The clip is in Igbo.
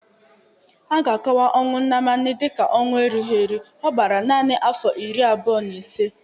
A ga-akọwa ọnwụ Nnamani dịịka ọnwụ erughi eru: ọ gbara nanị afọ iri abụọ na ise